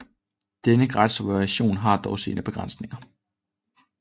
Denne gratis version har dog sine begrænsninger